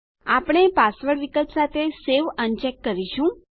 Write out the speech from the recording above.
આપણે પાસવર્ડ વિકલ્પ સાથે સેવ અનચેક કરીશું